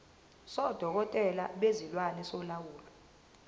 sodokotela bezilwane solawulo